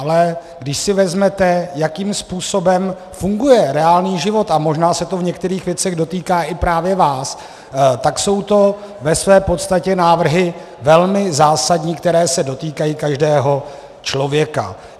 Ale když si vezmete, jakým způsobem funguje reálný život, a možná se to v některých věcech dotýká právě i vás, tak jsou to ve své podstatě návrhy velmi zásadní, které se dotýkají každého člověka.